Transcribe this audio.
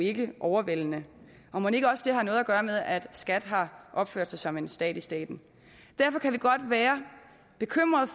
ikke er overvældende og mon ikke også det har noget at gøre med at skat har opført sig som en stat i staten derfor kan vi godt være bekymrede